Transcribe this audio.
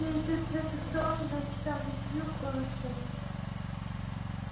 все идут в эту сторону значит там и клюква растёт